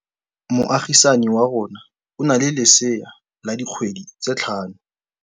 Moagisane wa rona o na le lesea la dikgwedi tse tlhano.